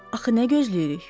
Axı nə gözləyirik?